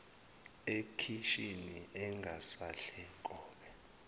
ekhishini engasadle nkobe